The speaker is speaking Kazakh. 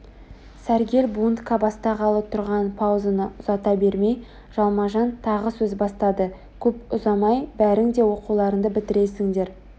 сәргел бунтка бастағалы тұрған паузаны ұзата бермей жалма-жан тағы сөз бастады көп ұзамай бәрің де оқуларыңды бітіресіндер